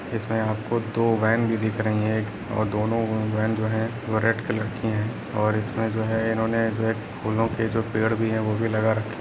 इसमें आपको दो वैन भी दिख रही है और दोनों वैन जो है वो रेड कलर के है और इसमें जो है इन्होंने रेड फूलों को जो पेड़ भी है वो भी लगा रखे --